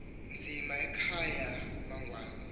nzima ekhaya amangwane